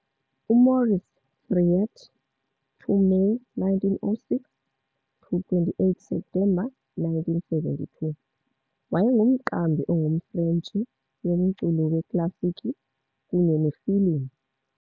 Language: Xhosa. UMaurice Thiriet, 2 Meyi 1906 to 28 Septemba 1972, wayengumqambi ongumFrentshi womculo weklasikhi kunye nefilimu.